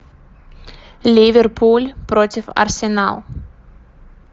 ливерпуль против арсенал